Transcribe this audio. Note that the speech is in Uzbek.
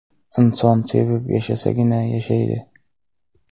Inson sevib yashasagina yashaydi.